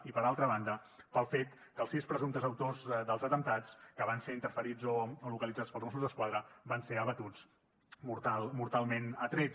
i per altra banda pel fet que els sis presumptes autors dels atemptats que van ser interferits o localitzats pels mossos d’esquadra van ser abatuts mortalment a trets